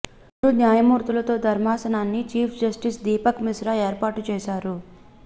ముగ్గురు న్యాయమూర్తులతో ధర్మాసనాన్ని చీఫ్ జస్టిస్ దీపక్ మిశ్రా ఏర్పాటు చేశారు